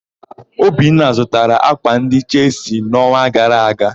Obinna zụtara ákwà ndị Chelsi n'ọnwa gara aga.